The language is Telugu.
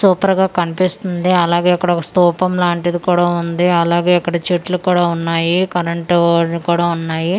సూపర్ గా కన్పిస్తుంది అలాగే అక్కడ ఒక స్తూపం లాంటిది కూడా ఉంది అలాగే అక్కడ చెట్లు కూడా ఉన్నాయి కరెంటు వైర్ లు కూడా ఉన్నాయి.